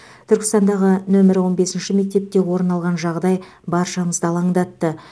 түркістандағы нөмірі он бесінші мектепте орын алған жағдай баршамызды алаңдатты